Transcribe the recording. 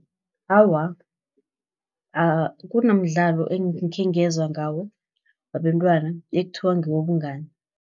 Awa, kunomdlalo ekhengezwa ngawo wabentwana, ekuthiwa ngewobungani.